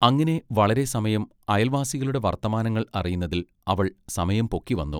അങ്ങിനെ വളരെ സമയം അയൽവാസികളുടെ വർത്തമാനങ്ങൾ അറിയുന്നതിൽ അവൾ സമയം പൊക്കിവന്നു.